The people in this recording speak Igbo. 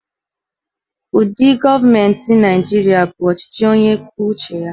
Ụdị gọọmenti Nigeria bụ ọchịchị onye kwuo uche ya.